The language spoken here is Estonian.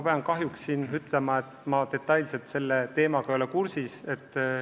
Mina kahjuks ei ole detailselt selle teemaga kursis.